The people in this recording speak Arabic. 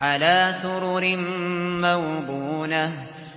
عَلَىٰ سُرُرٍ مَّوْضُونَةٍ